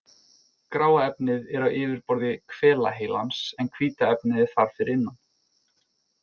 Gráa efnið er á yfirborði hvelaheilans en hvíta efnið er þar fyrir innan.